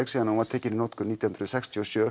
síðan hún var tekin í notkun árið nítján hundruð sextíu og sjö